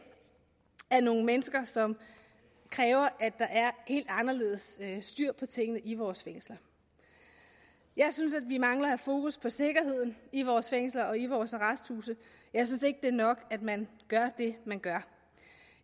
er nogle mennesker som kræver at der er helt anderledes styr på tingene i vores fængsler jeg synes at vi mangler at have fokus på sikkerheden i vores fængsler og i vores arresthuse jeg synes ikke at det er nok at man gør det man gør